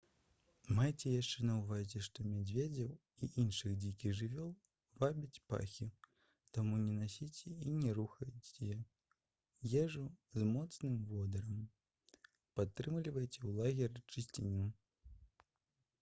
майце яшчэ на ўвазе што мядзведзяў і іншых дзікіх жывёл вабяць пахі таму не насіце і не рыхтуйце ежу з моцным водарам падтрымлівайце ў лагеры чысціню